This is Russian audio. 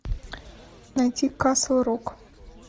найти касл рок